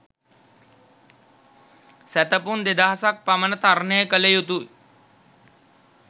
සැතපුම් දෙදහසක් පමණ තරණය කළ යුතු